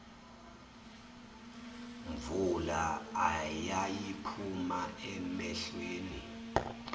mvula eyayiphuma emehlweni